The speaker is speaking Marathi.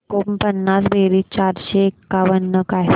एकोणपन्नास बेरीज चारशे एकावन्न काय